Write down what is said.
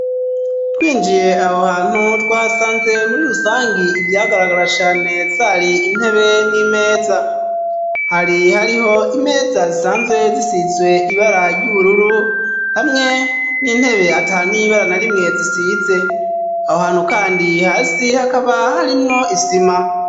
Twinjiye aho hantu twasanze muri rusangi ivyagaragara cane zari intebe n'imeza hari hariho imeza zisanzwe zisizwe ibara ry'ubururu hamwe n'intebe ata n'ibara na rimwe zisize aho hantu kandi hasi hakaba harimwo isima